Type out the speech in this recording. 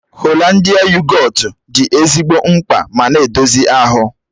Holandịa yogọt dị ezigbo mma ma na-edozi ahụ.